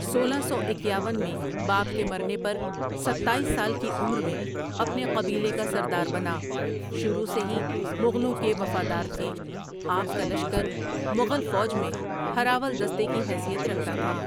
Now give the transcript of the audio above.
سولہ سو اکیاون میں باپ کے مرنے پرستایس سال کی عمر میں اپنے قبیلے کا سردار بنا شروع سے ہی مغلوں کے وفادار تھے آپکا لشکر مغل فوج میں ھر اول دستے کی حیثیت رکھتا تھا ۔